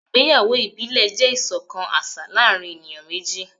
ìgbéyàwó ibile jẹ iṣọkan aṣa láàrin eniyan meji.